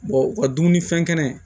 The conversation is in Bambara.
u ka dumunifɛn kɛnɛ